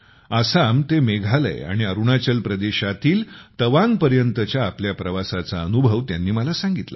आसाम ते मेघालय आणि अरुणाचल प्रदेशातील तवांग पर्यंतच्या आपल्या प्रवासाचा अनुभव त्यांनी मला सांगितला